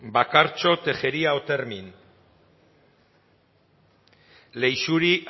bakartxo tejeria otermin leixuri